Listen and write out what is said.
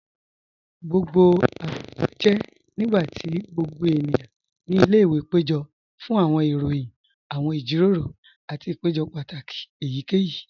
Awọn àpẹ̀jọ́ jẹ́ nígbàtí gbogbo ènìyàn ní ilẹ̀-ìwé pẹ̀jọ̀ fún awọn ìròyìn, awọn ìjíròrò, àti àpẹ̀jọ́ pátákì èyíkèyí.